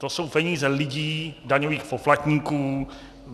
To jsou peníze lidí, daňových poplatníků.